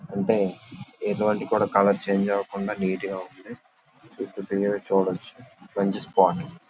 అంటే ఎటువంటి colour change అవకుండా నీట్ గా ఉంటే గా చూడవచ్చు. మంచి స్పాట్ --